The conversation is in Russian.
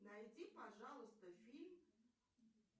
найди пожалуйста фильм